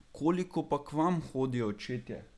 Koliko pa k vam hodijo očetje?